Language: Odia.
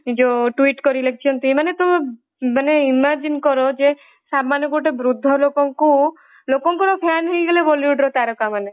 ମଧ୍ୟ ଯୋଉ twit କରି ଲେଖିଛନ୍ତି ମାନେ ତମେ ମାନେ imagine କର ଯେ ସାମାନ୍ଯ ଗୋଟେ ବୃଦ୍ଧ ଲୋକଙ୍କୁ ଲୋକଙ୍କର fan ହେଇଗଲେ bollywoodର ତରକାମାନେ ହେଲା।